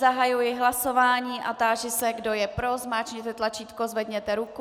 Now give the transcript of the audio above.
Zahajuji hlasování a táži se, kdo je pro, zmáčkněte tlačítko, zvedněte ruku.